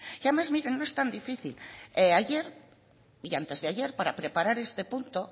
y además mire no es tan difícil ayer y antes de ayer para preparar este punto